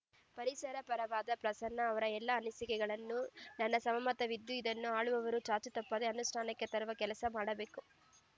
ಪರಿಸರ ಪರವಾದ ಪ್ರಸನ್ನ ಅವರ ಎಲ್ಲ ಅನಿಸಿಕೆಗಳಿಗೂ ನನ್ನ ಸಹಮತವಿದ್ದು ಇದನ್ನು ಆಳುವವರು ಚಾಚೂ ತಪ್ಪದೆ ಅನುಷ್ಠಾನಕ್ಕೆ ತರುವ ಕೆಲಸ ಮಾಡಬೇಕು